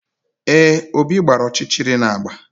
Ee, Obi gbara ọchịchịrị na agba